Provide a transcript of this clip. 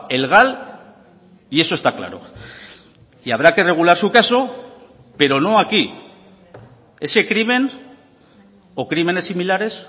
el gal y eso está claro y habrá que regular su caso pero no aquí ese crimen o crímenes similares